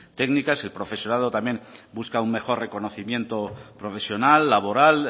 técnicas el profesorado también busca un mejor reconocimiento profesional laboral